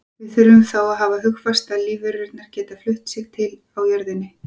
Við þurfum þá að hafa hugfast að lífverurnar geta flutt sig til á jörðinni.